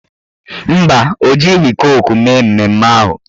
Mba, o jighị koku mee mmemme ahụ